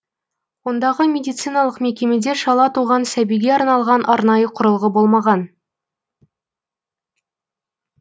ондағы медициналық мекемеде шала туған сәбиге арналған арнайы құрылғы болмаған